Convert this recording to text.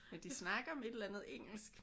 Men de snakker om et eller andet engelsk